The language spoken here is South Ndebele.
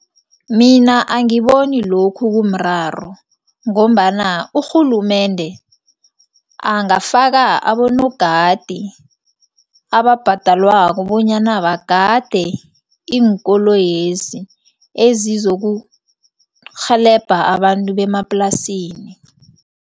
Mina angiboni lokhu kumraro ngombana urhulumende angafaka abonogadi abhadalwako bonyana bagade iinkoloyezi ezizokurhelebha abantu bemaplasini.